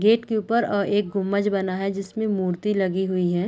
Gate के ऊपर अ एक गुमज बना है जिसमें मूर्ति लगी हुई है।